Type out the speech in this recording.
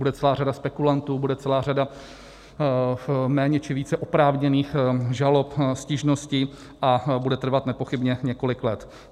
Bude celá řada spekulantů, bude celá řada méně či více oprávněných žalob, stížností a bude trvat nepochybně několik let.